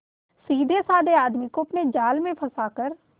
सीधेसाधे आदमी को अपने जाल में फंसा कर